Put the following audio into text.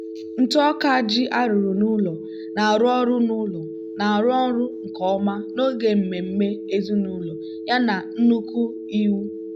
ntụ ọka ji arụrụ n'ụlọ na-arụ ọrụ n'ụlọ na-arụ ọrụ nke ọma n'oge mmemme ezinụlọ yana nnukwu iwu.